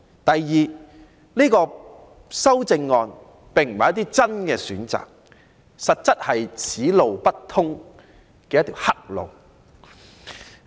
第二，修正案並不是提供一些真正的選擇，而實在是"此路不通"的一條黑路。